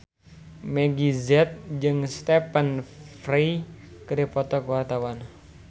Meggie Z jeung Stephen Fry keur dipoto ku wartawan